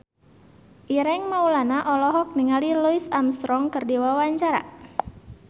Ireng Maulana olohok ningali Louis Armstrong keur diwawancara